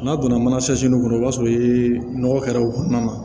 N'a donna mana kɔnɔ i b'a sɔrɔ i ye nɔgɔ kɛra o kɔnɔna na